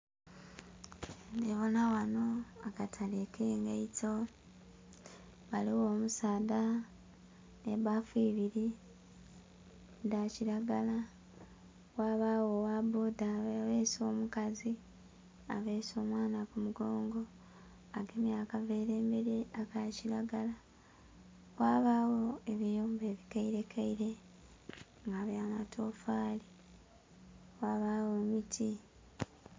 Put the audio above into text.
Ndhibona ghano akatale kengeito, ghaligho omusaadha nhe baafu ibiri dha kilagala ghabagho ogha boda abese omukazi abese omwaana ku mugongo, agemye akavera emberi aka kilagala ghabagho ebiyumba ebikaire keire nga bya miti.